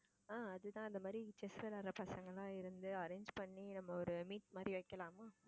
ஆஹ் அது தான் இந்த மாதிர chess விளையாடுற பசங்கயெல்லாம் இருந்து arrange பண்ணி நம்ம ஒரு meet மாதிரி வைக்கலாமா?